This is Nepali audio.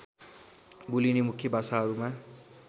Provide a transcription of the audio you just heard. बोलिने मुख्य भाषाहरूमा